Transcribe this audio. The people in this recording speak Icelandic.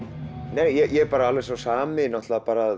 nei ég er alveg sá sami bara